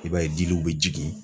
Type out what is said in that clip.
I b'a ye diliw bɛ jigin.